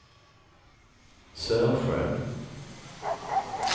Sörsjön